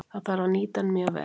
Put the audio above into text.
Það þarf að nýta hann mjög vel.